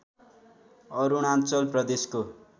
अरुणाञ्चल प्रदेशको